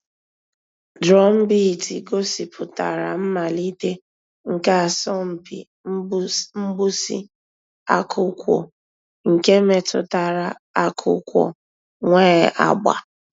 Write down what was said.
Drumbeat gọ̀sìpùtárà mmàlítè nke àsọ̀mpị mgbụsị̀ ákụ̀kwò nke mètụtara àkụ̀kwò nwee àgbà.